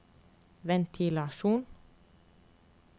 ventilasjon